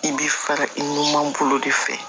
I bɛ fara i numanbolo de fɛ